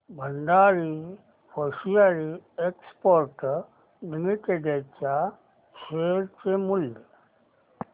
Bhandari hosiery exports limited च्या share चे मूल्य